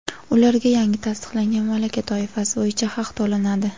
ularga yangi tasdiqlangan malaka toifasi bo‘yicha haq to‘lanadi.